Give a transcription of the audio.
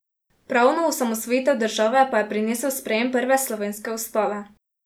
Pravno osamosvojitev države pa je prinesel sprejem prve slovenske ustave.